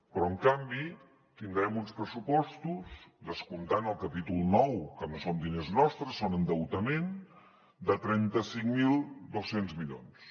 però en canvi tindrem uns pressupostos descomptant el capítol nou que no són diners nostres són endeutament de trenta cinc mil dos cents milions